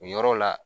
O yɔrɔ la